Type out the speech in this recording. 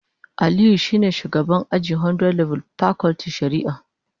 Aliyu shine shugaban aji a 100level pakultin shari'a